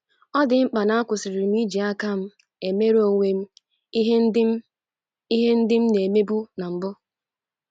ọ di mkpa na-akwusirị m iji aka m emere onwe m ihe ndị m ihe ndị m na-emebu na mbụ